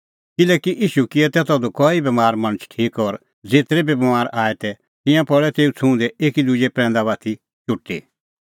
किल्हैकि ईशू किऐ तै तधू कई बमार मणछ ठीक और ज़ेतरै बी बमार आऐ तै तिंयां पल़ै तेऊ छ़ुंहदै एकी दुजै प्रैंदा बाती चुटी